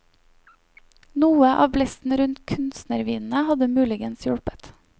Noe av blesten rundt kunstnervinene hadde muligens hjulpet.